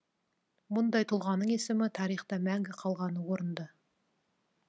мұндай тұлғаның есімі тарихта мәңгі қалғаны орынды